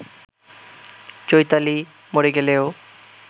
চৈতালি মরে গেলেও